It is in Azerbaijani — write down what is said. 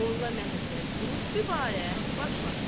Molla Məmmədqulu dübarə başladı.